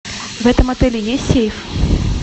в этом отеле есть сейф